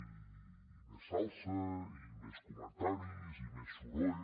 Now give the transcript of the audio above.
i més salsa i més comentaris i més soroll